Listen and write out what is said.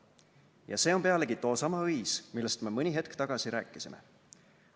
Ja see on pealegi toosama õis, millest me mõni hetk tagasi rääkisime.